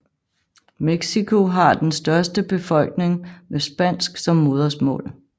Mexico har den største befolkning med spansk som modersmål